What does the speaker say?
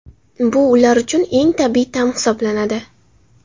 Bu ular uchun eng tabiiy ta’m hisoblanadi.